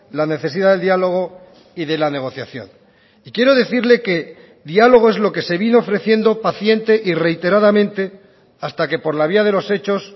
la necesidad del diálogo y de la negociación y quiero decirle que diálogo es lo que se vino ofreciendo paciente y reiteradamente hasta que por la vía de los hechos